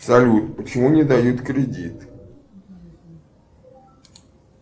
салют почему не дают кредит